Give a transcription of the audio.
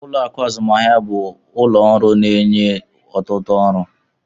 Ụlọ akụ azụmahịa bụ ụlọ ọrụ ego na-enye ọtụtụ ọrụ.